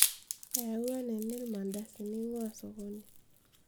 eyaua nini ilmandasini eingua sokoni